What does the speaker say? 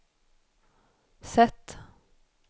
sätt